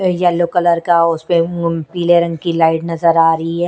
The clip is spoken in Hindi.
येलो कलर का उसपे उम् पीले रंग की लाइट नजर आ रही है।